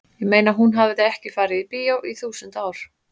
ég meina hún hafði ekki farið í bíó í þúsund ár.